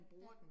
Ja